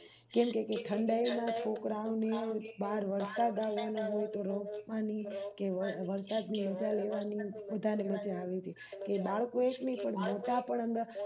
કેમ કે ઠંડા યમાં છોકરા ઓને બાર વરસાદ આવતો હોય તો રોકવાની કે વરસાદની મજા લેવાની વધારે મજા આવી તી દાળ કોય એકની પણ મોટા પણ અંદર